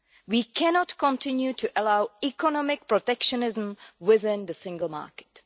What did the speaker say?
We cannot continue to allow economic protectionism within the single market.